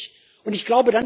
Das vermisse ich.